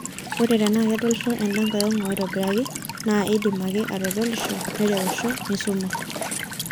Ore tenaa kedolisho enda nkae ong'u aitobiraki naa indim ake atodolisho, nireusho, nisuma.